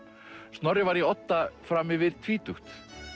Snorri var í Odda fram yfir tvítugt